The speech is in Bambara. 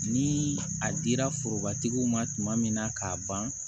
Ni a dira forobatigiw ma tuma min na k'a ban